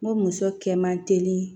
N ko muso kɛ man teli